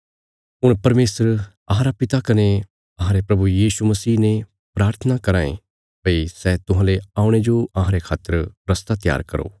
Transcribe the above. हुण परमेशर अहांरा पिता कने अहांरे प्रभु यीशु मसीह ने प्राथना कराँ ये भई सै तुहांले औणे जो अहांरे खातर रस्ता त्यार करो